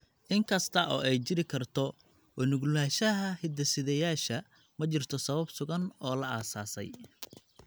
In kasta oo ay jiri karto u nuglaanshaha hidde-sideyaasha, ma jirto sabab sugan oo la aasaasay.